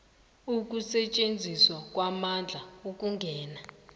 ukusetjenziswa kwamandla ukungena